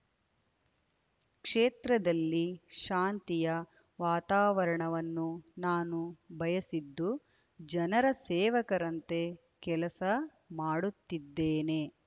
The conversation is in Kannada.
ಕ್ಷೇತ್ರದಲ್ಲಿ ಶಾಂತಿಯ ವಾತಾವರಣವನ್ನು ನಾನು ಬಯಸಿದ್ದು ಜನರ ಸೇವಕರಂತೆ ಕೆಲಸ ಮಾಡುತ್ತಿದ್ದೇನೆ